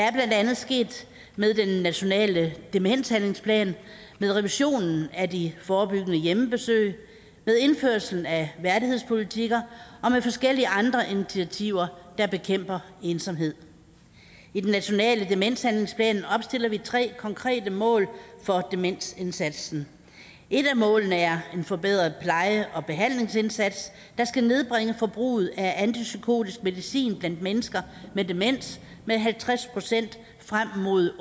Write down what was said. er blandt andet sket med den nationale demenshandlingsplan med revisionen af de forebyggende hjemmebesøg med indførelsen af værdighedspolitikker og med forskellige andre initiativer der bekæmper ensomhed i den nationale demenshandlingsplan opstiller vi tre konkrete mål for demensindsatsen et af målene er en forbedret pleje og behandlingsindsats der skal nedbringe forbruget af antipsykotisk medicin blandt mennesker med demens med halvtreds procent frem mod